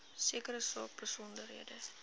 sekere saak besonderhede